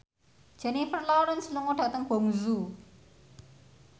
Jennifer Lawrence lunga dhateng Guangzhou